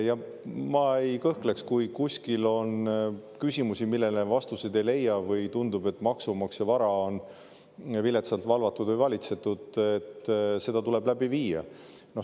Ja ma ei kõhkleks, kui kuskil on küsimusi, millele vastuseid ei leia, või tundub, et maksumaksja vara on viletsalt valvatud või valitsetud, et seda tuleb läbi viia.